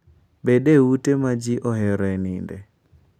Bed e ute ma ji oheroe nindo.